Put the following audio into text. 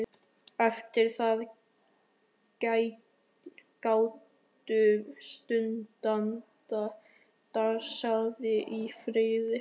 Eftir það gátu stúdentar dansað í friði.